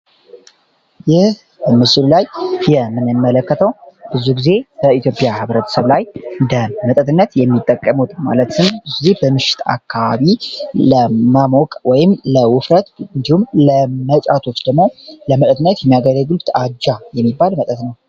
ይህ በምስሉ ላይ የምንመለከተው ብዙ ጊዜ በኢትዮጵያ ህብረተሰብ ላይ እንደ መጠጥነት የሚጠቀሙት ማለትምብዙ ጊዜ በምሽት አካባቢ ለማሞቅ ወይም ለውፍረት እንዲሁም ለመጫቶች ደሞው ለመጠትነት የሚያገሪግልት አጃ የሚባል መጠጥ ነው።